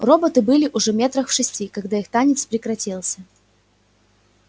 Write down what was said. роботы были уже метрах в шести когда их танец прекратился